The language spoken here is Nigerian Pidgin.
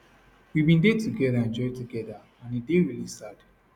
we bin dey togeda enjoy togeda and e dey really sad